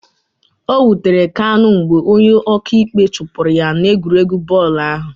O wutere Kanu mgbe onye ọka ikpe chụpụrụ ya n'egwuregwu bọọlụ ahụ